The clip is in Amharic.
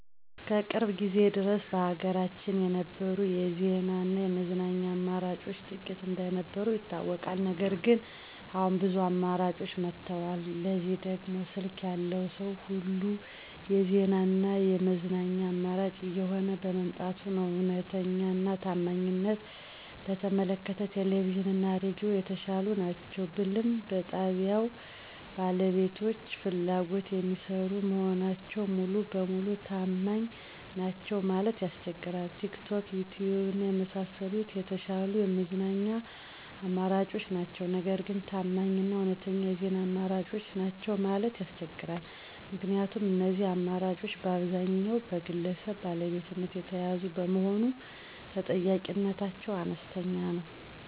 እስከ ቅርብ ጊዜ ድረስ በሀገራችን የነበሩት የዜና እና የመዝናኛ አማራጮች ጥቂት እንደነበሩ ይታወቃል። ነገር ግን አሁን ብዙ አማራጮች መጥተዋል። ለዚህም ደግሞ ስልክ ያለው ሰዉ ሁሉ የዜና እና የመዝናኛ አማራጭ እየሆነ በመምጣቱ ነዉ። እዉነተኛ እና ታማኝነትን በተመለከተ ቴሌቪዥን እና ሬዲዮ የተሻሉ ናቸው ብልም በጣብያዉ ባለቤቶች ፍላጎት የሚሰሩ መሆናቸው ሙሉ ለሙሉ ታማኝ ናቸዉ ለማለት ያስቸግራል። ቲክቶክ፣ ዪትዪብ እና የመሳሰሉት የተሻሉ የመዝናኛ አማራጮች ናቸው። ነገር ግን ታማኝ እና እዉነተኛ የዜና አማራጮች ናቸው ማለት ያስቸግራል። ምክንያቱም እነዚህ አማራጮች በአብዛኛዉ በግለሰብ ባለቤትነት የተያዙ በመሆኑ ተጠያቂነታቸው አነስተኛ ነዉ።